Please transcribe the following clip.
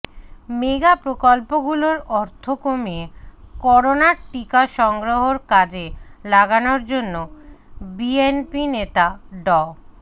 mega প্রকল্পগুলোর অর্থ কমিয়ে করোনার টিকা সংগ্রহের কাজে লাগানোর জন্য বিএনপিনেতা ড